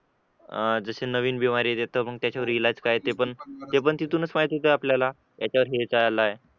अह जसे नवीन देतात मग इलाज काय ते पण ते पण तिथूनच माहिती का आपल्याला याच्या वरती हे काय आलं